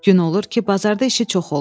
Gün olur ki, bazarda işi çox olur.